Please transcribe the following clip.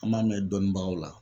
An b'a mɛn dɔnnibagaw la